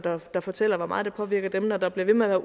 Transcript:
der fortæller hvor meget det påvirker dem når der bliver ved med at